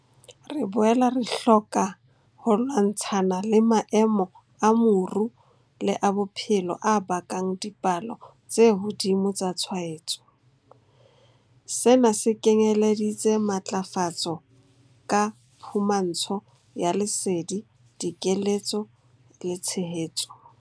Re boela re hloka ho lwantshana le maemo a moru le a bophelo a bakang dipalo tse hodimo tsa tshwaetso. Sena se kenyeletsa matlafatso ka phumantsho ya lesedi, dikeletso le tshehetso.